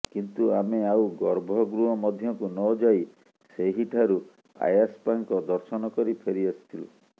କିନ୍ତୁ ଆମେ ଆଉ ଗର୍ଭ ଗୃହ ମଧ୍ୟକୁ ନଯାଇ ସେହିଠାରୁ ଆୟାପ୍ପାଙ୍କ ଦର୍ଶନ କରି ଫେରି ଆସିଥିଲୁ